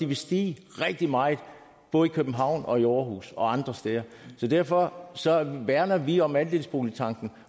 vil stige rigtig meget både i københavn aarhus og andre steder så derfor værner vi om andelsboligtanken